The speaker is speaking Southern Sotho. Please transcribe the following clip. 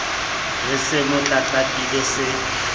re se mo tlatlapile se